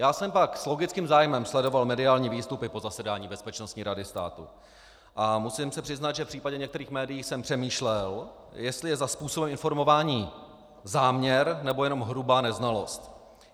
Já jsem pak s logickým zájmem sledoval mediální výstupy po zasedání Bezpečnostní rady státu a musím se přiznat, že v případě některých médií jsem přemýšlel, jestli je za způsobem informování záměr, nebo jenom hrubá neznalost.